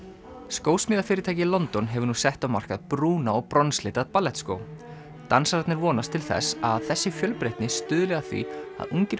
skósmíðafyrirtæki í London hefur nú sett á markað brúna og bronslita ballettskó dansararnir vonast til þess að þessi fjölbreytni stuðli að því að ungir